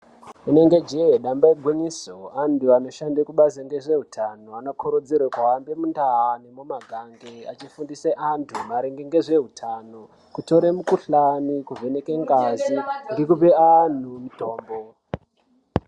Renenge jee damba ingwinyiso anthu anoshande kubazi ngezveutano vanokurudzirwa ngemundau nemumakang eifundisa anthu maringe ngezveuthano kutore mukhuhlani kuvheneke ngazi ngekupe anthu muthombo.